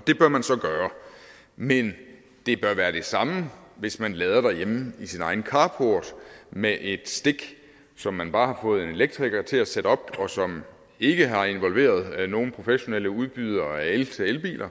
det bør man så gøre men det bør være det samme hvis man lader derhjemme i sin egen carport med et stik som man bare har fået en elektriker til at sætte op og som ikke har involveret nogen professionel udbyder af el til elbiler